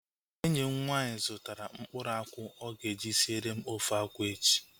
Enyi m nwaanyị zụtara mkpụrụ akwụ ọ ga-eji siere m ofe akwụ echi